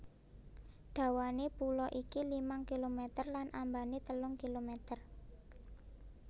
Dawané pulo iki limang kilometer lan ambané telung kilometer